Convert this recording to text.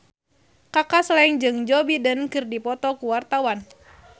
Kaka Slank jeung Joe Biden keur dipoto ku wartawan